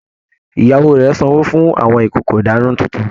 Ìyàwó rẹ sanwó fún àwọn ìkòkò ìdána títún